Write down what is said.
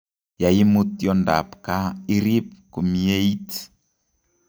Yeimut tiondab ab gaa irib kumieit